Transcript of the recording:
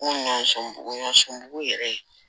N ko ɲɔ so bugu yɛrɛ